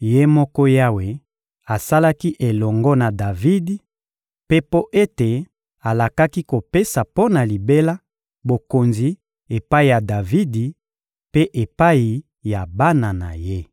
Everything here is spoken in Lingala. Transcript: Ye moko Yawe asalaki elongo na Davidi, mpe mpo ete alakaki kopesa mpo na libela bokonzi epai ya Davidi mpe epai ya bana na ye.